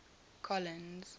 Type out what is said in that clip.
colins